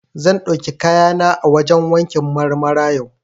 Zan ɗauki kayana a wajen wankin Marmara yau.